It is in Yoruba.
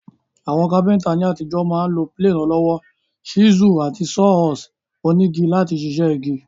Àwon carpenter ní àtijọ́ ma n lo plane ọlọ́wọ́, chisel, àti saw horse onígi láti sisẹ́ igi